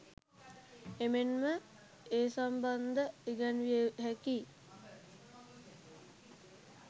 එමෙන්ම ඒ සම්බන්ධ ඉගැන්විය හැකි